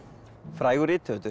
frægur rithöfundur